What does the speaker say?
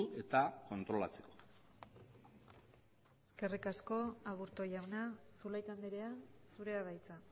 eta kontrolatzeko eskerrik asko aburto jauna zulaika andrea zurea da hitza